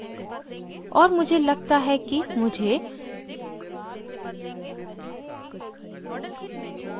और मुझे लगता है कि मुझे